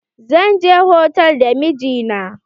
Zan je hotal da mijina.